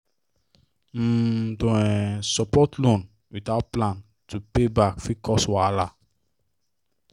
um to um support loan without plan to pay back fit cause wahala